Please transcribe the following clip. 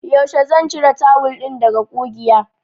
Yaushe zan cire tawul ɗin daga ƙugiya?